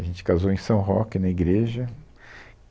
A gente casou em São Roque, na igreja.